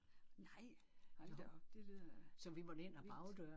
Nej hold da op det lyder vildt